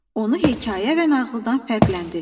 Onu hekayə və nağıldan fərqləndirir.